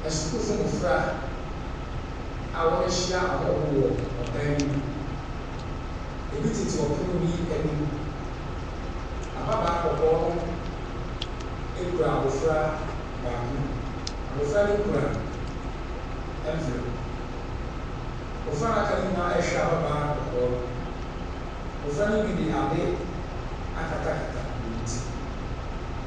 Asukuufo mmɔfra a wɔahyia ɔhɔho wɔ dan bi mu. Ebi tete ɔpono bi anim. Ababaa kɔkɔɔ no kura abofra baako mu. Abofra no kura envlope. Mmofra a aka no nyinaa rehwɛ ababaa kɔkɔɔ no. Mmofra no bi de ade akatakata wɔn ti.